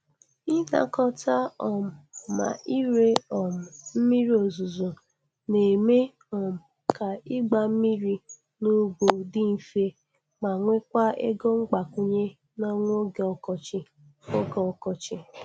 Ịnakọta um ma ire um mmiri ozuzo na-eme um ka ịgba mmiri n’ugbo dị mfe, ma nwekwa ego mgbakwunye n’ọnwa oge ọkọchị. oge ọkọchị.